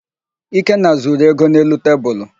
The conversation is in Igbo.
Ikenna zuru ego dị n'elu tebulu.